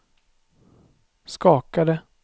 skakade